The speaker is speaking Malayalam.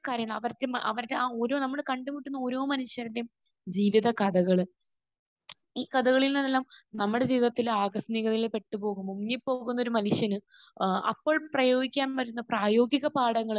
കാര്യങ്ങൾ. അവരുടെ അവരുടെ ആ ഓരോ നമ്മൾ കണ്ടുമുട്ടുന്ന ഓരോ മനുഷ്യരുടെയും ജീവിതകഥകൾ. ഈ കഥകളിൽ നിന്നെല്ലാം നമ്മുടെ ജീവിതത്തിലെ ആകസ്മികതയിൽ പെട്ട് പോകുമ്പോൾ മുങ്ങിപ്പോകുന്ന ഒരു മനുഷ്യന് ഏഹ് അപ്പോൾ പ്രയോഗിക്കാൻ പറ്റുന്ന പ്രായോഗികപാഠങ്ങൾ